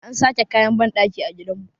an sake kayan bandakin a gidanmu